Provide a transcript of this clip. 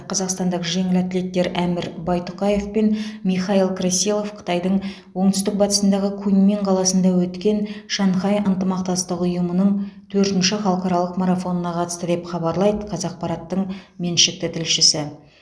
қазақстандық жеңіл атлеттер әмір байтұқаев пен михаил красилов қытайдың оңтүстік батысындағы куньмин қаласында өткен шанхай ынтымақтастық ұйымының төртінші халықаралық марафонына қатысты деп хабарлайды қазақпараттың меншікті тілшісі